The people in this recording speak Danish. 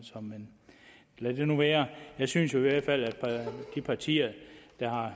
men lad det nu være jeg synes jo i hvert fald at de partier der har